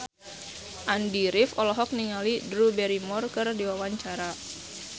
Andy rif olohok ningali Drew Barrymore keur diwawancara